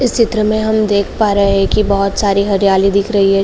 इस चित्र में हम देख पा रहे है कि बोहोत सारी हरियाली दिख रही है।